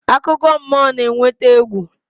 Akụkọ mmụọ na-eweta egwu.